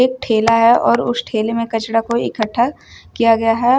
ठेला है और उस ठेले में कचड़ा कोई इकट्ठा किया गया है।